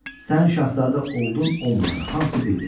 Sən şahzadə oldun, olmadın, hamısı birdir.